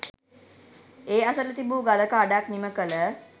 ඒ අසල තිබූ ගලක අඩක් නිමකළ